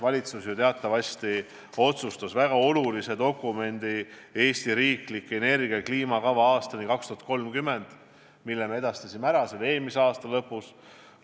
Valitsus teatavasti otsustas lasta koostada väga olulise dokumendi: "Eesti riiklik energia- ja kliimakava aastani 2030", mille me andsime üle eelmise aasta lõpus.